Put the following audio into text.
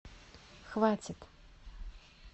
хватит